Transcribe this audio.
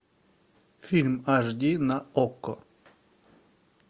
фильм аш ди на окко